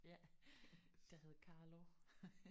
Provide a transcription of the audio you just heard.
Ja der hed Carlo